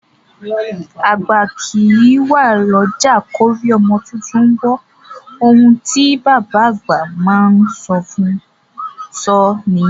Àgbà kìí wà l'ọ́jà k'órí ọmọ tuntun wọ́; oun tí bàbá àgbà má a sọ nìyẹn.